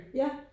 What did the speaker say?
Ja